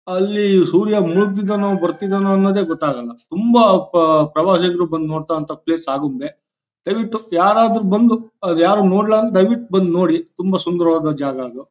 ಅಲ್ಲಿ ಸೂರ್ಯ ಮುಳುಗ್ತಿದ್ದಾನೋ ಬರ್ತಿದ್ದಾನೋ ಅನ್ನೋದೇ ಗೊತ್ತಾಗಲ್ಲ ತುಂಬಾ ಪ ಪ್ರವಾಸಿಗ್ರು ಬಂದ್ ನೋಡ್ತಾ ಇರೋ ಪ್ಲೇಸ್ ಅಂದ್ರೆ ಆಗುಂಬೆ ದಯ್ವಿಟ್ಟು ಯಾರಾದ್ರೂ ಬಂದ್ ಅಹ್ ಯಾರು ನೋಡ್ಲಾ ಅಂದ್ರೆ ದಯ್ವಿಟ್ಟು ಬಂದ್ ನೋಡಿ ತುಂಬಾ ಸುಂದರವಾದ ಜಾಗ ಅದು.